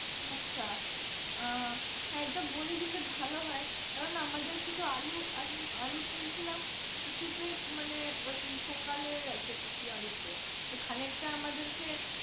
আচ্ছা আহ এটা বলে দিলে ভালো হয় কারণ আমাদের কিছু আলু আমি আলু তুলছিলাম কিছুতেই মানে ওই পোকা লেগে গেছে কিছু আলু তে তো খানিকটা আমাদেরকে